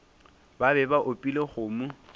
ba be ba opile kgomo